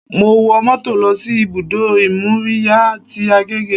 Mo wo mọ́tò lọ sí ibùdó ìmóríyá tí Agege